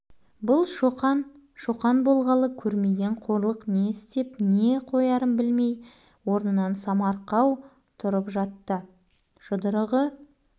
маған десе ұршығы шықсын жіліншігі шорт сынсын бәрібір шоқан тағы тап берген шоқан тоқтат рахима апай